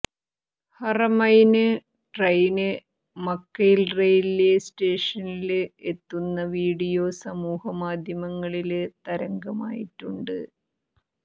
Haramain train Makkah railway സ്റ്റേഷനില് എത്തുന്ന video സമൂഹ്യമാധ്യമങ്ങളില് തരംഗമായിട്ടുണ്ട്